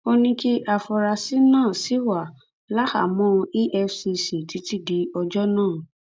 ó ní kí àfúráṣí náà ṣì wà láhàámọ efcc títí di ọjọ náà